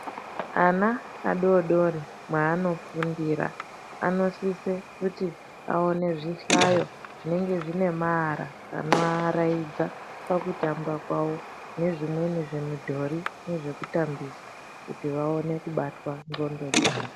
Ana adori dori mwaanofundira anosise kuti awone zvihlayo zvinenge zvine maara anovavaraidza pakutamba kwavo, nezvimweni zvimidhori nezvekutambisa kuti vawane kubatwa ndxondo dzavo.